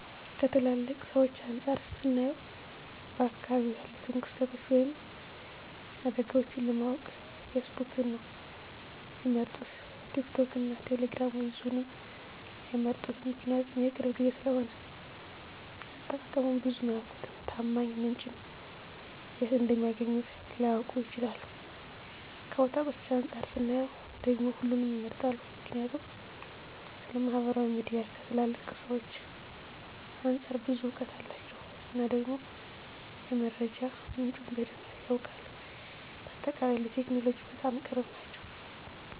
ከትላልቅ ሰዎች አንፃር ስናየው በአካባቢው ያሉትን ክስተቶች ወይም አደጋዎችን ለማወቅ ፌስቡክን ነው ሚመርጡት ቲክቶክን እና ቴሌግራምን ብዙም አይመርጡትም ምክንያቱም የቅርብ ጊዜ ስለሆነ አጠቃቀሙን ብዙም አያውቁትም፣ ታማኝ ምንጭን የት እንደሚያገኙት ላያውቁ ይችላሉ። ከወጣቶች አንፃር ስናየው ደግሞ ሁሉንም ይመርጣሉ ምክንያቱም ስለማህበራዊ ሚዲያ ከትላልቅ ሰዎች አንፃር ብዙ እውቀት አላቸው እና ደግሞ የመረጃ ምንጩም በደንብ ያውቃሉ። በአጠቃላይ ለቴክኖሎጂ በጣም ቅርብ ናቸው